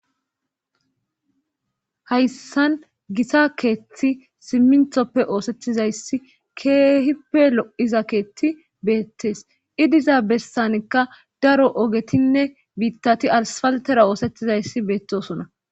Hayssan gisa keeththi simminthoppe oosettizayssi keehippe lo'iza keethti beettees idiza bestanikka daro ogetinne biittati alsfaltera oosettizayssi beettosona.